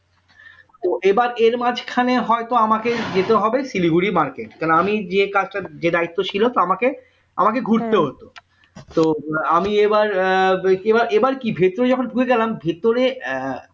তো এবার এর মাঝখানে হয়ত আমাকে যেতে হবে শিলিগুড়ি market কেন আমি যে কাজটা যে দায়িত্ব ছিল তা আমাকে আমাকে ঘুরতে হত তো আমি এবার এবার কি ভিতরে যখন ঢুকে গেলাম ভিতরে